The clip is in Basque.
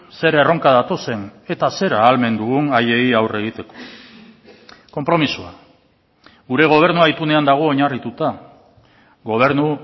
zer erronka datozen eta zer ahalmen dugun haiei aurre egiteko konpromisoa gure gobernua itunean dago oinarrituta gobernu